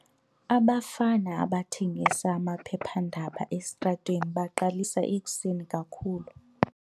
Abafana abathengisa amaphephandaba esitratweni baqalisa ekuseni kakhulu.